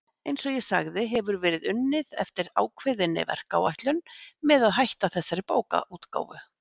Eins og ég sagði hefur verið unnið eftir ákveðinni verkáætlun með að hætta þessari bókaútgáfu.